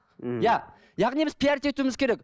иә яғни біз пиарить етуіміз керек